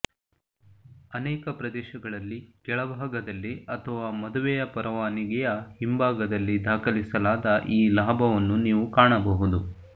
ಅನೇಕ ಪ್ರದೇಶಗಳಲ್ಲಿ ಕೆಳಭಾಗದಲ್ಲಿ ಅಥವಾ ಮದುವೆ ಪರವಾನಗಿಯ ಹಿಂಭಾಗದಲ್ಲಿ ದಾಖಲಿಸಲಾದ ಈ ಲಾಭವನ್ನು ನೀವು ಕಾಣಬಹುದು